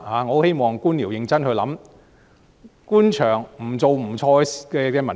我很希望官僚認真思考官場不做不錯的文化。